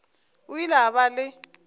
o ile a ba le